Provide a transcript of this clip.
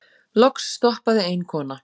Loks stoppaði ein kona.